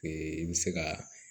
i bɛ se ka